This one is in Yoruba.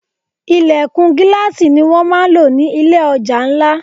Ìlẹ̀kùn gíláàsì ní wón máa ń lò ní ilé ọjà ńlá.